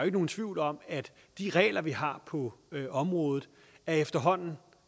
ikke nogen tvivl om at de regler vi har på området efterhånden